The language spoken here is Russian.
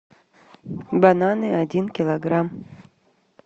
бананы один килограмм